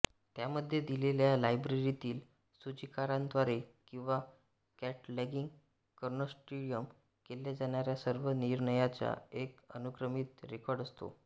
त्यामध्ये दिलेल्या लायब्ररीतील सूचिकारांद्वारे किंवा कॅटलॉगिंग कन्सोर्टियम केल्या जाणाऱ्या सर्व निर्णयांचा एक अनुक्रमित रेकॉर्ड असतो